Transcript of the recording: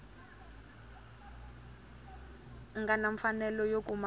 nga na mfanelo yo kuma